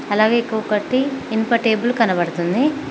అలాగే ఇంకొకటి ఇనుప టేబుల్ కనబడుతుంది.